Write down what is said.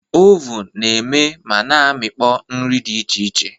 Ovun na-eme ma na amịkpọ nri dị iche iche.